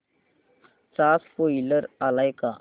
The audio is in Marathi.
चा स्पोईलर आलाय का